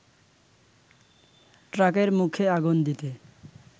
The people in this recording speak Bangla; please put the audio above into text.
ট্রাকের মুখে আগুন দিতে